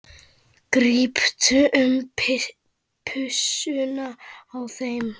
Gríptu um pussuna á þeim.